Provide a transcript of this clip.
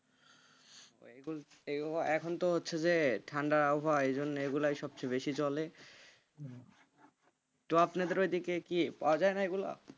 এখন তো হচ্ছে যে, ঠান্ডার আবহাওয়া ওই জন্য এগুলো সব থেকে বেশি চলে তো আপনাদের ওদিকে কি পাওয়া যায় না এগুলা?